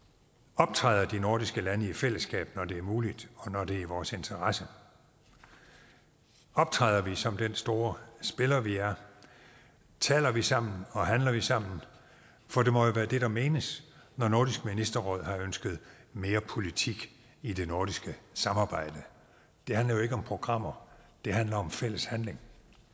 optræder de nordiske lande i fællesskab når det er muligt og når det er i vores interesse optræder vi som den store spiller vi er taler vi sammen og handler vi sammen for det må jo være det der menes når nordisk ministerråd har ønsket mere politik i det nordiske samarbejde det handler jo ikke om programmer det handler om fælles handling